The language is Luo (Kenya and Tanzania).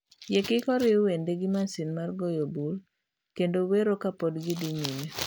Yie kik oriw wende gi masin mar goyo bul kendo iwero ka pod gidhi nyime